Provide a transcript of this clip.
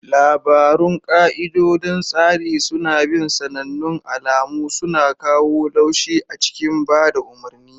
Labarun ka'idodin tsari suna bin sanannun alamu, suna kawo laushi a cikin ba da umarni.